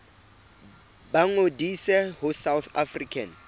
ba ngodise ho south african